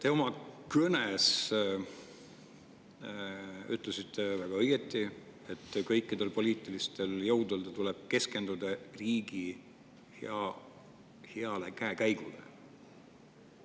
Te oma kõnes ütlesite väga õieti, et kõikidel poliitilistel jõududel tuleb keskenduda riigi heale käekäigule.